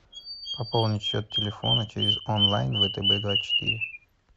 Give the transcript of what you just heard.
пополнить счет телефона через онлайн втб двадцать четыре